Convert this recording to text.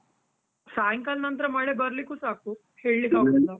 ಸಾಯಿಂಕಾಲ ನಂತ್ರ ಮಳೆ ಬರ್ಲಿಕು ಸಾಕು, ಹೇಳಿಕ್ಕೆ .